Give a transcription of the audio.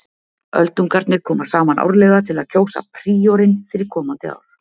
Öldungarnir koma saman árlega til að kjósa príorinn fyrir komandi ár.